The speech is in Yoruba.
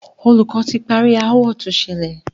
Olùkọ́ ti parí aáwọ̀ tó ṣẹlẹ̀.